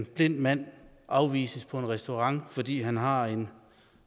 blind mand afvises på en restaurant fordi han har en